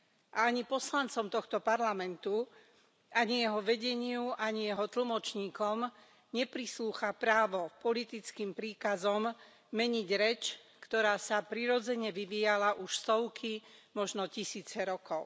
A ani poslancom tohto parlamentu, ani jeho vedeniu, ani jeho tlmočníkom neprislúcha právo politickým príkazom meniť reč, ktorá sa prirodzene vyvíjala už stovky, možno tisíce rokov.